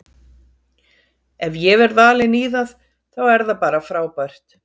Ef ég verð valinn í það þá er það bara frábært.